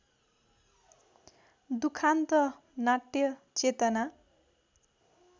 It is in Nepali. दुखान्त नाट्यचेतना